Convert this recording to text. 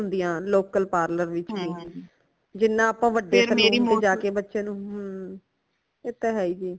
ਨਹੀਂ ਹੋਂਦਿਆਂ local parlor ਵਿੱਚ ਵੀ ਜਿਨ੍ਹਾਂ ਆਪਾ ਵੱਡੇ saloon ਤੇ ਜਾਕੇ ਬੱਚਿਆਂ ਨੂ ਹੁੰਮ ਏ ਤੇ ਹੈ ਹੀ ਜੀ